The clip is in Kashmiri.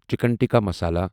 چِکن ٹکہ مسالا